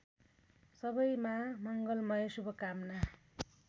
सबैमा मङ्गलमय शुभकामना